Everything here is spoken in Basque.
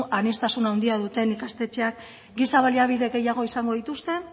aniztasun handia duten ikastetxeek giza baliabide gehiago izango dituzte